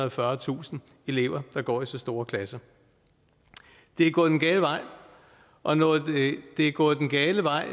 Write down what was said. og fyrretusind elever der går i så store klasser det er gået den gale vej og når det er gået den gale vej